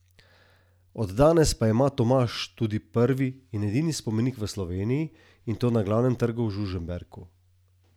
Od danes pa ima Tomaž tudi prvi in edini spomenik v Sloveniji, in to na glavnem trgu v Žužemberku.